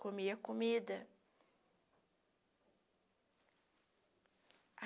Comia comida.